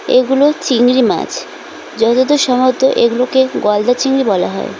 এগুলো চিংড়ি মাছ যতদূর সম্ভবত এগুলোকে গলদা চিংড়ি বলা হয়।